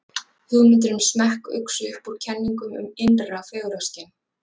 hugmyndir um smekk uxu upp úr kenningum um innra fegurðarskyn